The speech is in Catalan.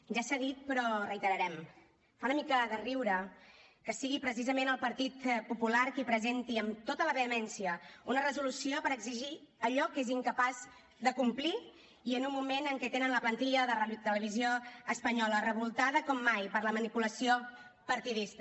ja s’ha dit però ho reiterarem fa una mica de riure que sigui precisament el partit popular qui presenti amb tota la vehemència una resolució per exigir allò que és incapaç de complir i en un moment en què tenen la plantilla de radiotelevisió espanyola revoltada com mai per la manipulació partidista